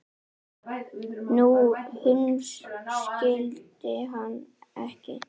Nei, hún skildi hann ekki.